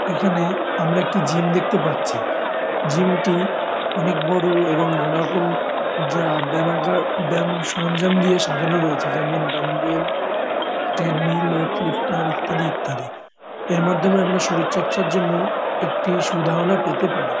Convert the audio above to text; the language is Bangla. এখানে আমরা একটি জিম দেখতে পাচ্ছি জিম -টি অনেক বড় এবং নানা রকম যা ব্যামাগার ব্যাম সরঞ্জাম দিয়ে সাজানো রয়েছে যেমন ডাম্বেল ট্রেডমিল ওয়েইট লিফটার ইত্যাদি ইত্যাদি এর মাধ্যমে আমরা শরীর চর্চার জন্য একটি সুধারণা পেতে পারি ।